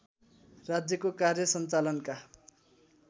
राज्यको कार्य सञ्चालनका